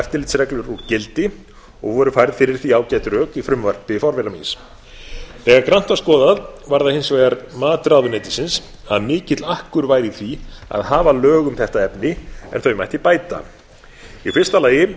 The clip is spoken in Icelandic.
eftirlitsreglur úr gildi og voru færð fyrir því ágæt rök í frumvarpi forvera míns þegar grannt var skoðað var það hins vegar mat ráðuneytisins að mikill akkur væri í því að hafa lög um þetta efni en þau mætti bæta í fyrsta lagi